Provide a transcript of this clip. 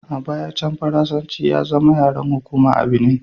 A baya can, Faransanci ya zama yaren hukuma a Benin.